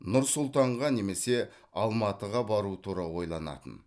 нұр сұлтанға немесе алматыға бару тура ойланатын